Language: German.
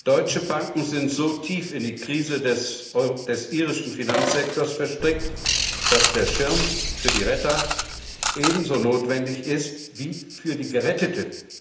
Deutsche Banken sind so tief in die Krise des irischen Finanzsektors verstrickt, dass der Schirm für die Retter ebenso notwendig ist wie für die Geretteten.